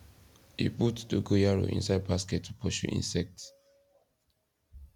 e put dogoyaro inside basket to pursue insect